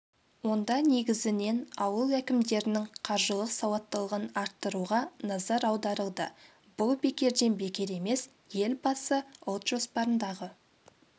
онда негізінен ауыл әкімдерінің қаржылық сауаттылығын арттыруға назар аударылды бұл бекерден бекер емес елбасы ұлт жоспарындағы